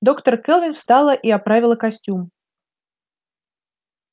доктор кэлвин встала и оправила костюм